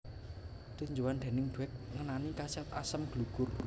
Tinjauan déning Dweck ngenani khasiat asem gelugur